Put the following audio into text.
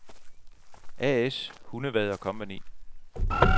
A/S Hundevad & Co